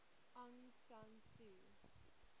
aung san suu